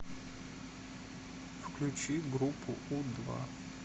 включи группу у два